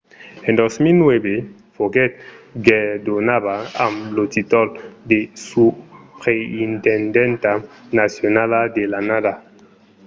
en 2009 foguèt guerdonada amb lo tíitol de superintendenta nacionala de l'annada